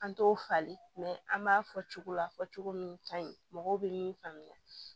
An t'o falen an b'a fɔ cogo la fɔ cogo min ka ɲi mɔgɔw bɛ min faamuya